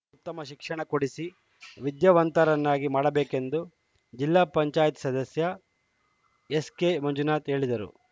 ಉತ್ತಮ ಶಿಕ್ಷಣ ಕೊಡಿಸಿ ವಿದ್ಯಾವಂತರನ್ನಾಗಿ ಮಾಡಬೇಕೆಂದು ಜಿಲ್ಲಾ ಪಂಚಾಯತ್ ಸದಸ್ಯ ಎಸ್‌ಕೆ ಮಂಜುನಾಥ್‌ ಹೇಳಿದರು